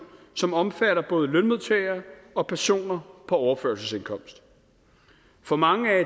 som omfatter både lønmodtagere og personer på overførselsindkomst for mange er